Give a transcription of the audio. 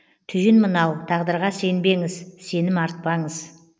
түйін мынау тағдырға сенбеңіз сенім артпаңыз